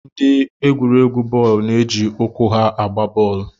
Ndị egwuregwu bọọlụ na-eji ụkwụ ha agba bọọlụ